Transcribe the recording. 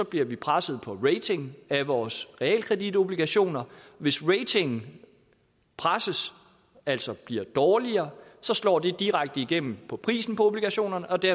bliver presset på ratingen af vores realkreditobligationer hvis ratingen presses altså bliver dårligere slår det direkte igennem på prisen på obligationerne og det